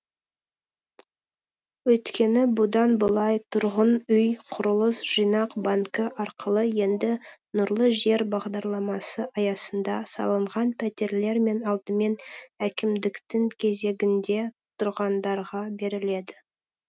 өйткені бұдан былай тұрғын үй құрылыс жинақ банкі арқылы енді нұрлы жер бағдарламасы аясында салынған пәтерлер алдымен әкімдіктің кезегінде тұрғандарға беріледі